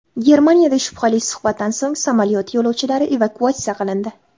Germaniyada shubhali suhbatdan so‘ng samolyot yo‘lovchilari evakuatsiya qilindi.